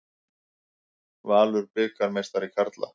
Valur bikarmeistari karla